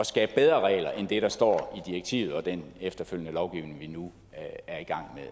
skabe bedre regler end det der står i direktivet og den efterfølgende lovgivning vi nu er i gang